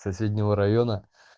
соседнего района